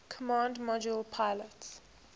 command module pilot